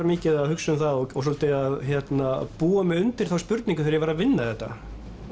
mikið að hugsa um það og svolítið að búa mig undir þá spurningu þegar ég var að vinna þetta